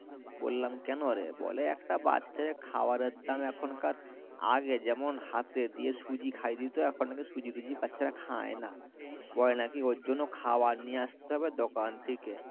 বললাম কেনোরে বলে একটা বাচ্চার খাবারের দাম এখনকার আগে যেমন হাতে দিয়ে সুজি খায়েদিতো এখন নাকি সুজি টুজি বাচ্ছরা খাইনা বলে নাকি ওর জব্য খাবার নিয়ে আস্তে হবে দোকান থেকে